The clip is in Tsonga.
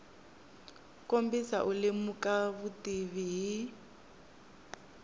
kombisa u lemuka vutivi hi